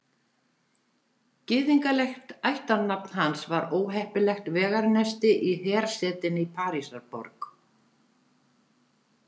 Gyðinglegt ættarnafn hans var óheppilegt vegarnesti í hersetinni Parísarborg.